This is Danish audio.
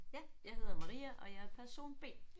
Ja. Jeg hedder Maria og jeg er person B